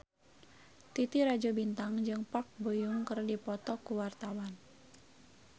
Titi Rajo Bintang jeung Park Bo Yung keur dipoto ku wartawan